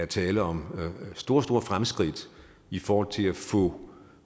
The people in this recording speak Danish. tale om store store fremskridt i forhold til at få